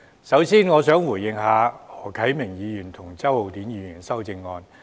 首先，我想回應何啟明議員及周浩鼎議員提出的修正案。